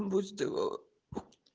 будит его